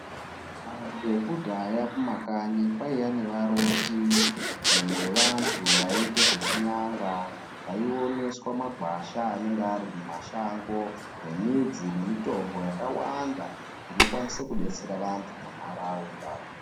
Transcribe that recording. Vekudhaya kumakanyi kwaiya nevaroti nevantu vaiite zvechinyanga vaioneswa magwasha anenga ari mumashango nemidzi nemitombo yakawanda inokwanise kudetsera vantu munharaunda.